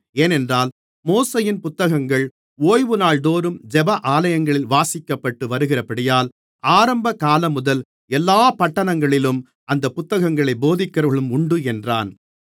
ஏனென்றால் மோசேயின் புத்தகங்கள் ஓய்வுநாள்தோறும் ஜெப ஆலயங்களில் வாசிக்கப்பட்டு வருகிறபடியால் ஆரம்ப காலம்முதல் எல்லாப் பட்டணங்களிலும் அந்த புத்தகங்களைப் போதிக்கிறவர்களும் உண்டு என்றான்